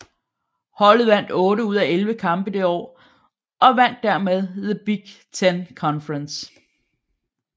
Holdet vandt 8 ud af 11 kampe det år og vandt dermed the Big Ten Conference